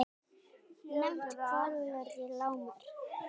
Nefnt Hvallátur í Landnámabók.